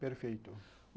Perfeito.